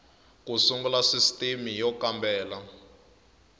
ku sungula sisitimi y kambela